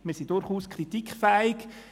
Wir sind durchaus kritikfähig.